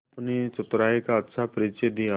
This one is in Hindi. अपनी चतुराई का अच्छा परिचय दिया